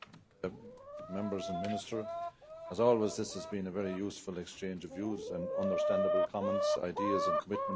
Mr President, as always this has been a very useful exchange of views and understandable comments, ideas and commitment to the work.